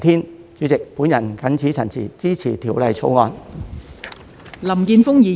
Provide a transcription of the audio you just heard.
代理主席，我謹此陳辭，支持《條例草案》。